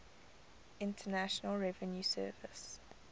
internal revenue service